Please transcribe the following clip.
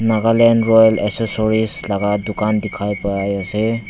nagaland royal accessories laga dukan dekhai pai ase.